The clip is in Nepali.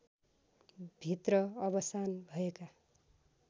भित्र अवशान भएका